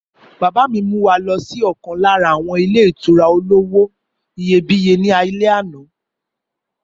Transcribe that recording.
Bàbá mi mú wa lọ sí ọ̀kan lára àwọn ilé ìtura olówó iyebíye ní alẹ́ àná.